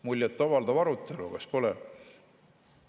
Muljet avaldav arutelu, kas pole?